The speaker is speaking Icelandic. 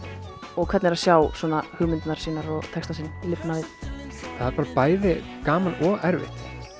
og hvernig er að sjá svona hugmyndirnar sínar og textann sinn lifna við það er bæði gaman og erfitt